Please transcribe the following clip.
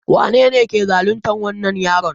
Wanene ke zaluntar wannan yaron?